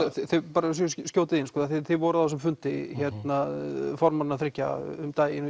bara svo ég skjóti því inn af því þið voruð á þessum fundi formannanna þriggja um daginn